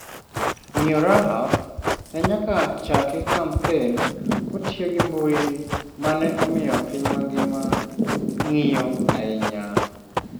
Miyo Rahaf ne nyaka ochaki kampen kotiyo gi mbui ma ne omiyo piny mangima ng’iyo ahinya.